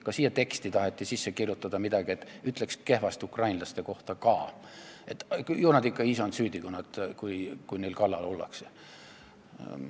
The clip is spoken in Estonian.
Ka siia teksti taheti sisse kirjutada midagi sellist, et ütleks kehvasti ukrainlaste kohta ka, ju nad ikka ise on süüdi, kui neil kallal ollakse.